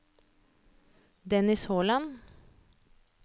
Dennis Holand